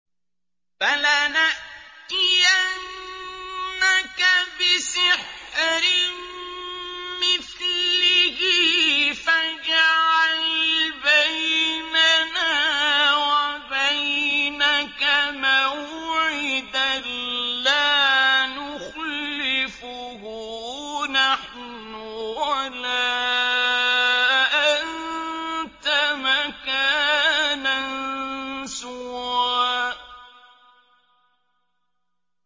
فَلَنَأْتِيَنَّكَ بِسِحْرٍ مِّثْلِهِ فَاجْعَلْ بَيْنَنَا وَبَيْنَكَ مَوْعِدًا لَّا نُخْلِفُهُ نَحْنُ وَلَا أَنتَ مَكَانًا سُوًى